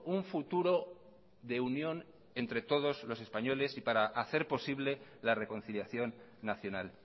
un futuro de unión entre todos los españoles y para hacer posible la reconciliación nacional